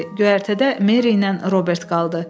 Göyərtədə Meri ilə Robert qaldı.